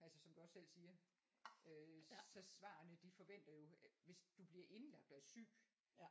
altså som du også selv siger øh så svarene de forventer jo at hvis du bliver indlagt og er syg